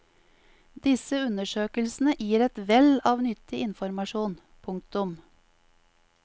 Disse undersøkelsene gir et vell av nyttig informasjon. punktum